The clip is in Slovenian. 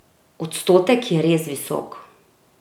Odstotek je res visok.